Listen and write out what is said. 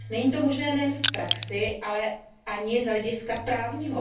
Není to možné nejen v praxi, ale ani z hlediska právního.